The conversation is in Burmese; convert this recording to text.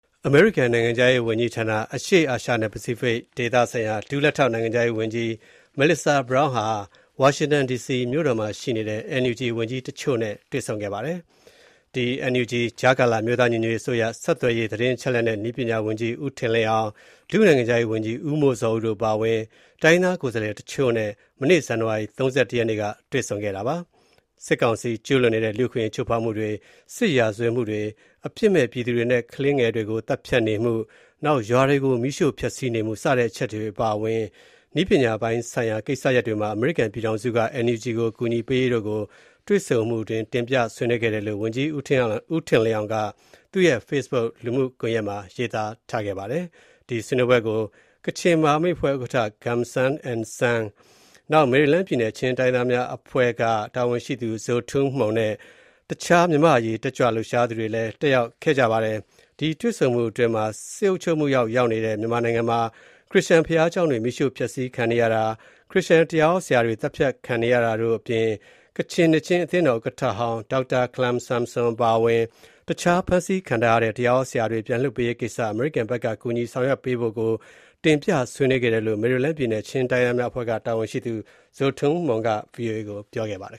အမေရိကန်နိုင်ငံခြားရေးဌာန အရှေ့အာရှနဲ့ ပစိဖိတ်ဒေသဆိုင်ရာ ဒုလက်ထောက်နိုင်ငံခြားရေးဝန်ကြီး Melissa Brown ဟာ NUG ကြားကာလ အမျိုးသားညီညွတ်ရေးအစိုးရ ဆက်သွယ်ရေး၊ သတင်းအချက်အလက်နှင့် နည်းပညာဝန်ကြီး ဦးထင်လင်းအောင်၊ ဒုနိုင်ငံခြားရေးဝန်ကြီး ဦးမိုးဇော်ဦးတို့ အပါအဝင် တိုင်းရင်းသားကိုယ်စားလှယ်အချို့နဲ့ မနေ့ ဇန်နဝါရီ ၃၁ ရက်နေ့က တွေ့ဆုံခဲ့ပါတယ်။ စစ်ကောင်စီ ကျူးလွန်နေတဲ့ လူ့အခွင့်အရေးချိုးဖောက်မှုတွေ စစ်ရာဇဝတ်မှုတွေ အပြစ်မဲ့ ပြည်သူတွေနဲ့ ကလေးသူငယ်တွေကို သတ်ဖြတ်နေမှု၊ ရွာတွေကိုမီးရှို့ ဖျက်ဆီးနေမှု စတဲ့အချက်တွေအပါအဝင် နည်းပညာပိုင်းဆိုင်ရာ ကိစ္စရပ်တွေမှာ အမေရိကန်ပြည်ထောင်စုက NUG ကို ကူညီပေးရေးတို့ကို တွေ့ဆုံမှုအတွင်း တင်ပြဆွေးနွေးခဲ့တယ်လို့ ဝန်ကြီး ဦးထင်လင်းအောင်က သူ့ရဲ့ Facebook လူမှုကွန်ယက်မှာ ရေးသားထားပါတယ်။ ဒီဆွေးနွေးပွဲကို ကချင်မဟာမိတ်အဖွဲ့ ဥက္ကဋ္ဌ ဦးဂွန်ဆမ် (Gum San N Sang) ၊ မယ်ရီလန်းပြည်နယ် ချင်းတိုင်းရင်းသားများအဖွဲ့က တာဝန်ရှိသူ Zo Tum Hmung နဲ့ တခြား မြန်မာ့အရေးတက်ကြွလှုပ်ရှားသူတွေလည်း တက်ရောက်ခဲ့ကြပါတယ်။ ဒီ တွေ့ဆုံမှုအတွင်း စစ်အုပ်ချုပ်မှုအောက်ရောက်နေတဲ့ မြန်မာနိုင်ငံမှာ ခရစ္စယာန် ဘုရားကျောင်းတွေ မီးရှို့ ဖျက်ဆီးခံနေရတာ၊ ခရစ္စယာန် တရားဟောဆရာတွေ သတ်ဖြတ်ခံနေရတာတို့အပြင် ကချင်နှစ်ခြင်းအသင်းတော်ဥက္ကဌဟောင်း ဒေါက်တာခလမ်ဆမ်ဆွမ် အပါအဝင် တခြား ဖမ်းဆီးခံထားရတဲ့ တရားဟောဆရာတွေ ပြန်လွှတ်ပေးရေးကိစ္စ အမေရိကန်ဘက်က ကူညီဆောင်ရွက်ပေးဖို့တို့ကို တင်ပြဆွေးနွေးခဲ့တယ်လို့ မယ်ရီလန်းပြည်နယ် ချင်းတိုင်းရင်းသားများအဖွဲ့က တာဝန်ရှိသူ Zo Tum Hmung က ဗွီအိုအေကို ပြောပါတယ်